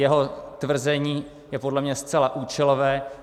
Jeho tvrzení je podle mě zcela účelové.